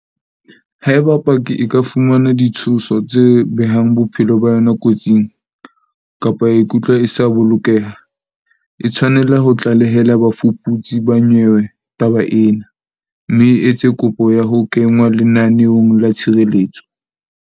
Haeba paki e ka fumana ditshoso tse behang bophelo ba yona kotsing, kapa ya ikutlwa e sa bolokeha, e tshwanela ho tlalehela bafuputsi ba nyewe taba ena, mme e etse kopo ya ho kenngwa lenaneong la tshireletso.